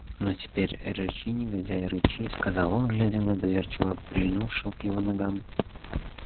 ну теперь рычи негодяй рычи сказал он глядя на доверчиво прильнувшего к его ногам